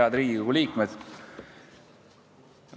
Head Riigikogu liikmed!